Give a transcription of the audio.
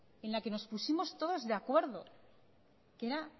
en la que nos pusimos todos de acuerdo que era